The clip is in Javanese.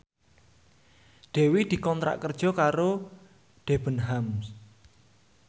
Dewi dikontrak kerja karo Debenhams